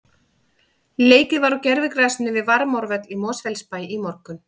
Leikið var á gervigrasinu við Varmárvöll í Mosfellsbæ í morgun.